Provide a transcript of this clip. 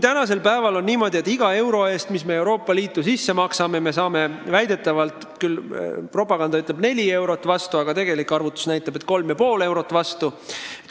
Tänasel päeval on niimoodi, et iga euro eest, mis me Euroopa Liitu maksame, saame propaganda kohaselt vastu 4 eurot, aga tegelik arvutus näitab, et 3,5 eurot.